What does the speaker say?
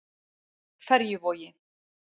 Ferjuvogi